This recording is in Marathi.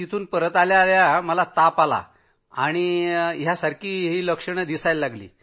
परत आल्याआल्या ताप आणि ते सर्व काही लक्षणं सुरू झाली